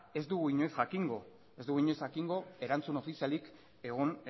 ez dugu inoiz jakingo erantzun ofizialik egon